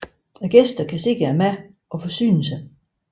Gæsterne kan se maden og forsyne sig